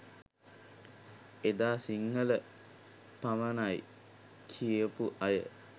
එදා සිංහල පමණයි කියපු අය